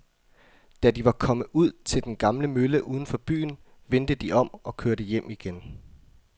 Da de var kommet ud til den gamle mølle uden for byen, vendte de om og kørte hjem igen.